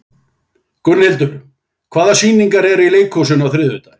Gunnhildur, hvaða sýningar eru í leikhúsinu á þriðjudaginn?